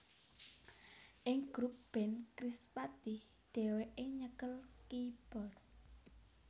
Ing grup band Krispatih dhèwèké nyekel keyboard